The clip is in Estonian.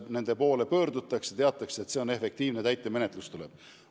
Nende poole pöördutakse, sest teatakse, et nende töö on efektiivne, täitemenetlus tuleb.